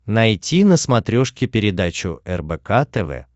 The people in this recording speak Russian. найти на смотрешке передачу рбк тв